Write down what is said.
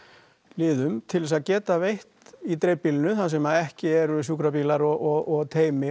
liðum til þess að geta veitt í dreifbýlinu þar sem ekki eru sjúkrabílar og teymi